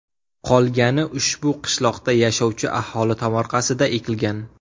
Qolgani ushbu qishloqda yashovchi aholi tomorqasida ekilgan.